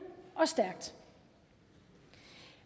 og stærkt